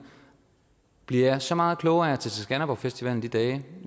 bliver jeg så meget klogere af at tage til skanderborgfestivalen de dage